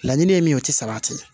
Laɲini ye min ye o tɛ sabati